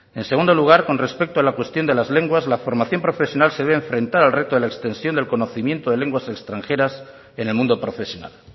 en segundo lugar con respecto a la cuestión de las lenguas la formación profesional se ve enfrentada al reto de la extensión del conocimiento de lenguas extranjeras en el mundo profesional